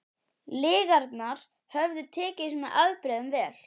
Lygarnar höfðu tekist með afbrigðum vel.